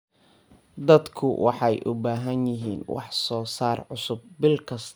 Dadku waxay u baahan yihiin wax soo saar cusub bil kasta.